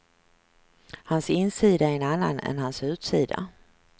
Hans insida är en annan än hans utsida.